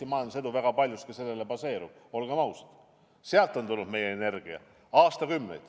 Olgem ausad, tegelikult on Eesti majandusedu väga paljus baseerunud sellele, et sealt on aastakümneid tulnud meie energia.